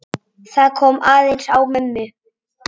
Það kom aðeins á mömmu.